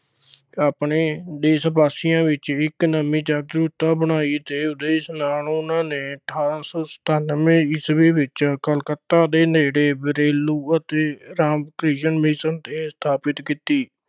ਆਪਣੇ ਦੇਸ਼ ਵਾਸੀਆਂ ਵਿੱਚ ਵੀ ਇੱਕ ਨਵੀਂ ਜਾਗਰੂਕਤਾ ਬਣਾਈ ਤੇ ਉਦੇਸ਼ ਨਾਲ ਉਨ੍ਹਾਂ ਨੇ ਅਠਾਰਾਂ ਸੌ ਸਤਾਨਵੇਂ ਈਸਵੀ ਵਿੱਚ ਕਲਕੱਤਾ ਦੇ ਨੇੜੇ ਬੇਲੁਰ ਅਤੇ ਰਾਮ ਕ੍ਰਿਸ਼ਣ ਮਿਸ਼ਨ ਸਥਾਪਿਤ ਕੀਤੀ।